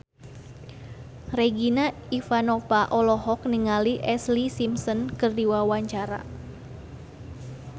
Regina Ivanova olohok ningali Ashlee Simpson keur diwawancara